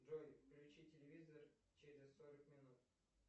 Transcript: джой включи телевизор через сорок минут